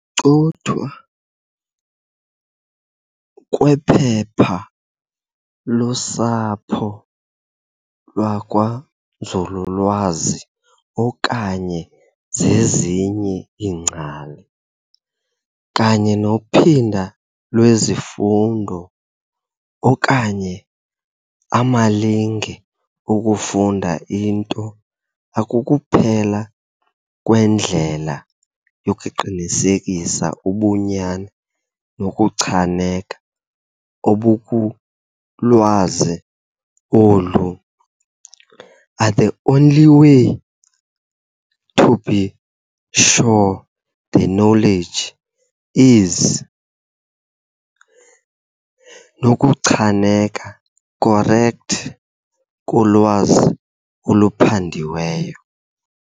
cothwa kwephepha lusapho lwakwanzululwazi okanye zezinye iingcali] kanye nophinda lwezifundo okanye amalinge okufunda into akukuphela kwendlela yokuqinisekisa ubunyani nokuchaneka obukulwazi olu are the only way to be sure the knowledge is nokuchaneka correct kolwazi oluphandiweyo.